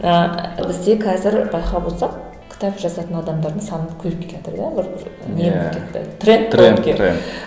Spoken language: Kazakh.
ыыы бізде қазір байқап отырсақ кітап жазатын адамдардың саны көбейіп келатыр да бір не болып кетті